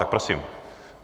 Tak prosím.